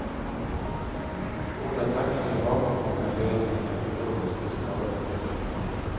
Hårda tacklingar bakifrån kan leda till neurologiska skador.